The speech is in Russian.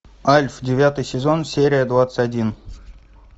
альф девятый сезон серия двадцать один